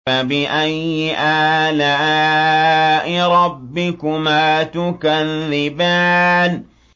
فَبِأَيِّ آلَاءِ رَبِّكُمَا تُكَذِّبَانِ